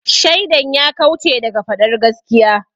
Shaidan ya kauce daga faɗar gaskiya.